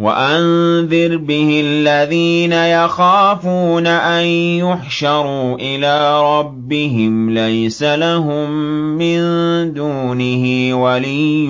وَأَنذِرْ بِهِ الَّذِينَ يَخَافُونَ أَن يُحْشَرُوا إِلَىٰ رَبِّهِمْ ۙ لَيْسَ لَهُم مِّن دُونِهِ وَلِيٌّ